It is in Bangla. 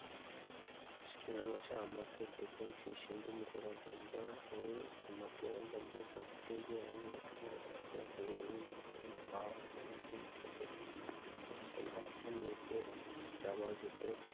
টুনা মাছে আমাকে দেখুন সেই সুন্দর মুখোপাধ্যায় হয়ে আমাকে এই যে আমি এখানে টা হয়ে আমি বাঁশের পা নাহি কোন ঠেলে-ঠুলে তারপর নিচের জামা-জুতোয়